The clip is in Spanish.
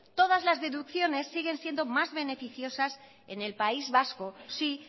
todas las deducciones siguen siendo más beneficiosas en el país vasco sí